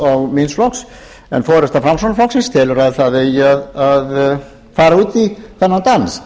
og míns flokks en forusta framsóknarflokksins telur að það eigi að fara út í þennan dans